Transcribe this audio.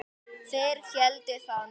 Þeir héldu það nú.